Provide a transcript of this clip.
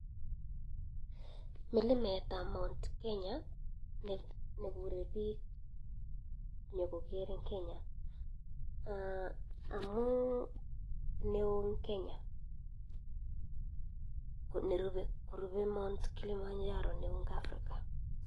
Milimet ab mt kenya nekure bik nyekoker eng kenya amuu neoo eng kenya korube mt kilimanjaro neoo eng africa